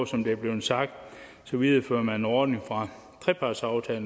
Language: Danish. som det er blevet sagt viderefører man derudover en ordning fra trepartsaftale